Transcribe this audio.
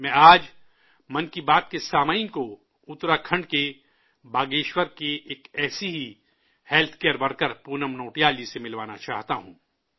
میں آج 'من کی بات' کے سامعین کو اتراکھنڈ کے باگیشور کی ایک ایسی ہی ہیلتھ ورکر پونم نوٹیال جی سے ملوانا چاہتا ہوں